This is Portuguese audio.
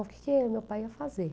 O que meu pai ia fazer?